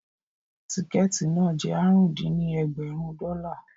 Tíkẹ̀ẹ̀tì náà jẹ́ àrún dín ní ẹ̀ẹ́dẹ́gbẹ́rún dọ́là